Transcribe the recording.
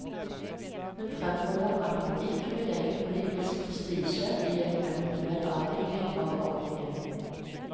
Hun fremholder at man ikke vil legge politisk prestisje i en eventuell avvikling av ordningen.